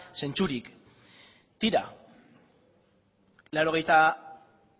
zentzurik tira laurogeita